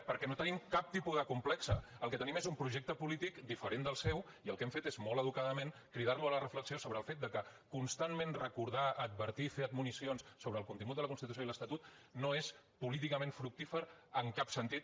perquè no tenim cap tipus de complex el que tenim és un projecte polític diferent del seu i el que hem fet és molt educadament cridar lo a la reflexió sobre el fet que constantment recordar advertir fer admonicions sobre el contingut de la constitució i l’estatut no és políticament fructífer en cap sentit